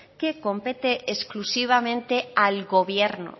que compete exclusivamente al gobierno